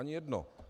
Ani jedno.